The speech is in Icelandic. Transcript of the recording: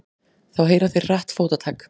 Þá heyra þeir hratt fótatak.